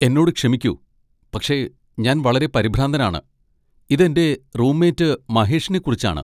എന്നോട് ക്ഷമിക്കൂ, പക്ഷേ ഞാൻ വളരെ പരിഭ്രാന്തനാണ്, ഇത് എന്റെ റൂംമേറ്റ് മഹേഷിനെക്കുറിച്ചാണ്.